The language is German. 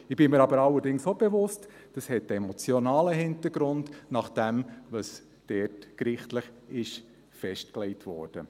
Ich bin mir aber allerdings auch bewusst, dass das einen emotionalen Hintergrund hat, nach dem, was dort gerichtlich festgelegt wurde.